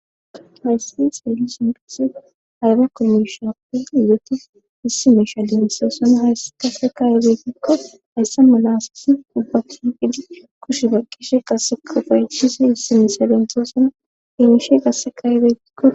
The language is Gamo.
hayssi seeli sinpise hayba komishape izoti issi meisha dimisasana haysse kasekayebeytikko hayssa malasasi dubbatu phidi kushe baqqishe qassekufayetisi hissi misa dentosana hemishe qasseka betikko